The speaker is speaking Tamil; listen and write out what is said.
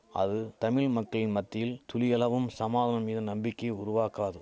அது தமிழ் மக்களின் மத்தியில் துளியளவும் சமாதனம் மீது நம்பிக்கை உருவாக்காது